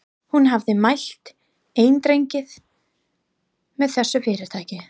Hún hafði mælt eindregið með þessu fyrirtæki.